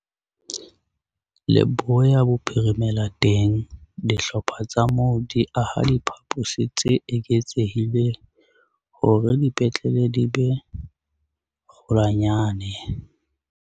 Leboya Bophirimela teng, dihlopha tsa moo di aha diphaposi tse eketsehileng hore dipetlele di be kgolwanyane.